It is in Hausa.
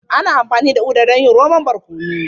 Ana amfani da Uda don yin romon barkono.